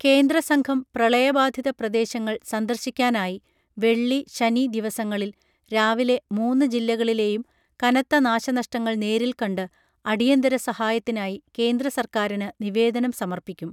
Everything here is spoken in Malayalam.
കേന്ദ്രസംഘം പ്രളയബാധിത പ്രദേശങ്ങൾ സന്ദർശിക്കാനായി വെള്ളി ശനി ദിവസങ്ങളിൽ രാവിലെ മൂന്നു ജില്ലകളിലെയും കനത്ത നാശനഷ്ടങ്ങൾ നേരിൽക്കണ്ട് അടിയന്തര സഹായത്തിനായി കേന്ദ്ര സർക്കാറിന് നിവേദനം സമർപ്പിക്കും